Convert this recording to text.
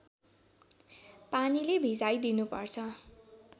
पानीले भिजाइ दिनुपर्छ